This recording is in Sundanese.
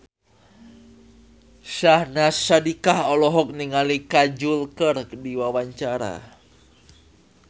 Syahnaz Sadiqah olohok ningali Kajol keur diwawancara